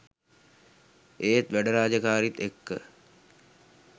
ඒත් වැඩ රාජකාරීත් එක්ක